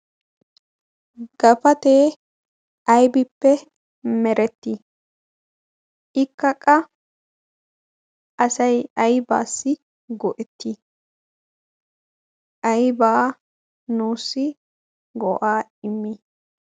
Gapatee aybbippe meretii? ikka qa asay aybbassi go''etti? aybba nuussi go''aa immi?